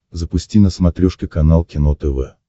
запусти на смотрешке канал кино тв